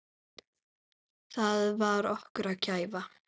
Það var okkar gæfa.